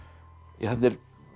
þarna er